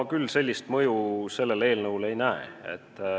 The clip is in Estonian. Ma küll sellist mõju sellel eelnõul ei näe.